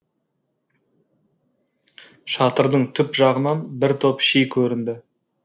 шатырдың түп жағынан бір топ ши көрінді